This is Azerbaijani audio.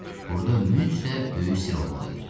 Burda mütləq böyük sirr olmalı idi.